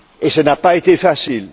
Cela n'a pas été facile.